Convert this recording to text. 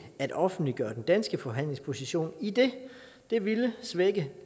at offentliggøre den danske forhandlingsposition idet det ville svække